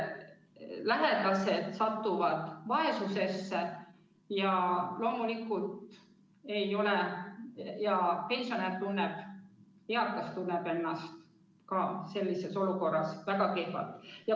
Lähedased satuvad vaesusesse ja loomulikult tunneb eakas pensionär ennast ka sellises olukorras väga kehvasti.